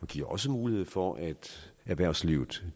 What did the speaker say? giver også mulighed for at erhvervslivet